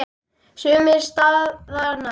Sumir staðna.